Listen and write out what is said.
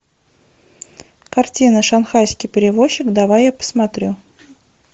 картина шанхайский перевозчик давай я посмотрю